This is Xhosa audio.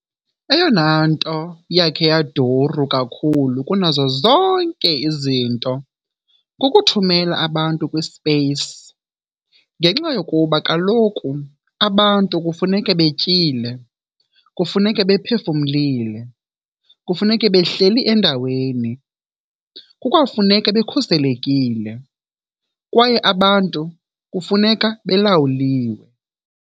Eyonanto yakhe yaduru kakhulu kunazo zonke izinto kukuthumela abantu kwi-space, ngenxa yokuba kaloku abantu kufuneka betyile, kufuneka bephefumlile, kufuneka behleli endaweni, kukwafuneka bekhuselekile, kwaye abantu kufuneka belawuliwe.